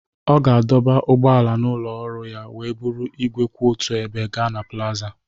Ọ ga-adọba ụgbọala n'ụlọ ọrụ ya wee buru igwe kwụ otu ebe gaa na plaza